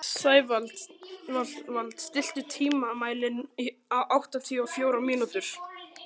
Sævald, stilltu tímamælinn á áttatíu og fjórar mínútur.